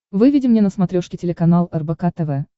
выведи мне на смотрешке телеканал рбк тв